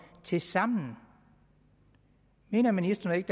tilsammen mener ministeren ikke